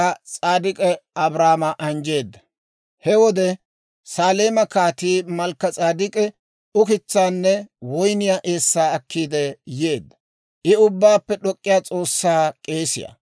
He wode, Saleeme Kaatii Malkka-S'edek'k'i ukitsaanne woyniyaa eessaa akkiide yeedda; I Ubbaappe d'ok'k'iyaa S'oossaa k'eesiyaa.